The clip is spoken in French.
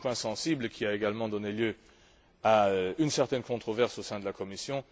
C'est un point sensible qui a également donné lieu à une certaine controverse au sein de la Commission.